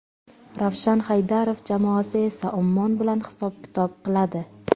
Ravshan Haydarov jamoasi esa Ummon bilan hisob-kitob qiladi.